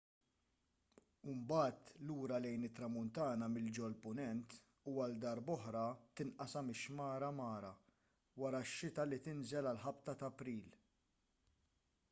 u mbagħad lura lejn it-tramuntana minn ġol-punent u għal darb'oħra tinqasam ix-xmara mara wara x-xita li tinżel għal ħabta ta' april